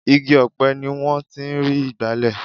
igi ọ̀pẹ ni wọ́n ti ń rí igbale